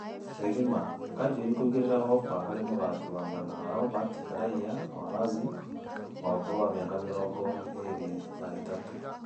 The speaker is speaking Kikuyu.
(Gĩthima) Kanjuĩrĩ kũigĩra ofa harĩ mũthaki wa mwena Robati raia wa Razib , wa ũkũrũ wa mĩaka mĩrongo ĩrĩ na ĩtatũ.